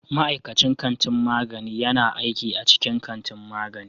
Ma'aikacin kantin magani yana aiki a cikin kantin magani